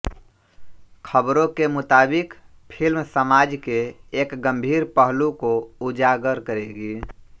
ख़बरों के मुताबिक फिल्म समाज के एक गम्भीर पहलु को उजागर करेगी